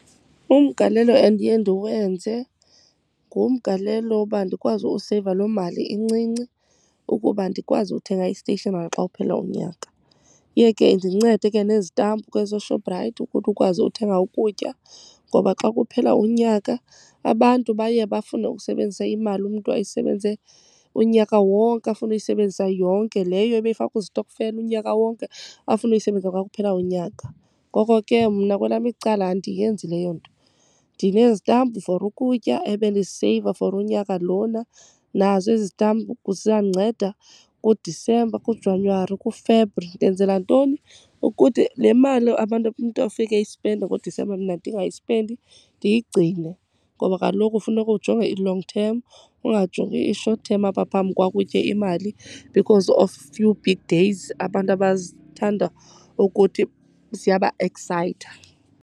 Umgalelo endiye ndiwenze ngumgalelo woba ndikwazi useyiva loo mali incinci ukuba ndikwazi uthenga isteyishinari xa kuphela unyaka. Iye ke indincede ke nezitampu ke zoShoprite ukuthi ukwazi uthenga ukutya. Ngoba xa kuphela unyaka abantu baye bafune usebenzisa imali umntu ayisebenze unyaka wonke, afune uyisebenzisa yonke. Leyo ebeyifaka kwistokfela unyaka wonke, afune uyisebenzisa xa kuphela unyaka. Ngoko ke mna kwelam icala andiyenzi leyo nto. Ndinezitampu for ukutya ebendiziseyiva for unyaka lona, nazo ezi zitampu zizandinceda kuDisemba, kuJanyuwari, kuFebri. Ndenzela ntoni? Ukuthi le mali abantu umntu afike eyispenda ngoDisemba mna ndingayispendi, ndiyigcine. Ngoba kaloku funeka ujonge i-long term ungajongi i-short term, apha phambi kwakho, utye imali because of few big days abantu abazithanda ukuthi ziyabaeksayitha.